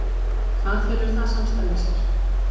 Hvað felur það samstarf í sér?